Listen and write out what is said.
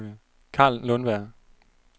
Carl Lundberg